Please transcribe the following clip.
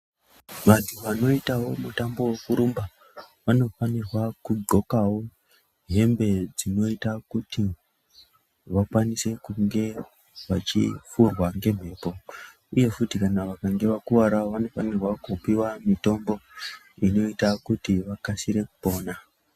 Vantu vanoitavo mutambo vokurumba vanofanirwa kudhlokavo hembe dzinoita kuti vakwanise kunge vachifurwa ngemhepo, uye futi vakange vakuvaravo vanofanirwa kupiva mitombo inoita kuti vakasire kupona.